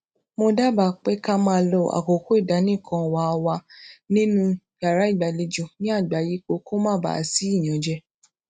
mo dábàá pé ká máa lo àkókò ìdánìkanwà wa nínú yàrá ìgbàlejò ní àgbàyípo kó má baà sí ìyànjẹ